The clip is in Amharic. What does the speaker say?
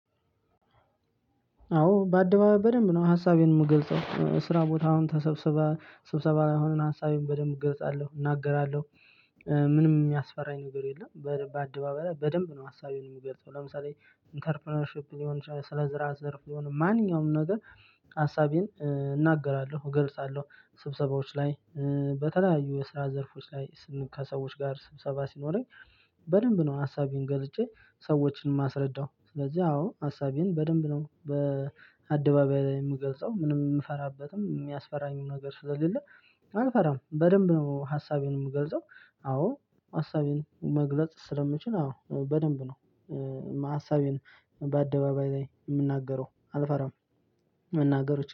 አዎ በአደባባይ በደንብ ነው ሀሳቤን የምገልጸው ስራ ቦታ አሁን ተሰብስበ ስብሰባ የሆነን ሀሳቤንን በደንብ እገልጻለሁ እናገራለሁ። ምንም የሚያስፈራኝ ነገር የለም። በአደባባይ በደንብ ነው ሀሳቤን የምገልጸው ለምሳሌ ኢንተርፕረነርሺፕ ሊሆን ይችላል ስለ ስራ ዘርፍ ሊሆን ማንኛውም ነገር። ሀሳቤን እናገራለሁ እገልጻለሁ ስብሰባዎች ላይ በተለያዩ የስራ ዘርፎች ላይ ከሰዎች ጋር ስብሰባ ሲኖረኝ። በደንብ ነው ሀሳቤን ገልጬ ሰዎችን ማስረዳው ስለዚህ አዎ ሀሳቤን በደንብ ነው በአደባባይ ላይ የምገልጸው ምንም የምፈራበትም የሚያስፈራኝም ነገር ስለሌለ። አልፈራም በደንብ ነው ሀሳቤን የምገልጸው አዎ ሀሳቤን መግለጽ ስለምችል አዎ በደንብ ነው። ሀሳቤን በአደባባይ ላይ የምናገረው አልፈራም። መናገሮችን